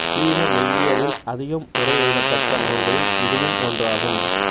சீன மெய்யியலில் அதிகம் உரை எழுதப்பட்ட நூல்களில் இதுவும் ஒன்றாகும்